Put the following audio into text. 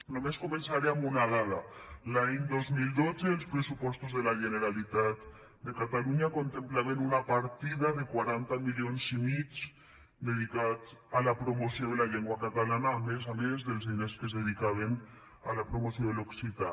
només començaré amb una dada l’any dos mil dotze els pressupostos de la generalitat de catalunya contemplaven una partida de quaranta milions i mig dedicats a la promoció de la llengua catalana a més a més dels diners que es dedicaven a la promoció de l’occità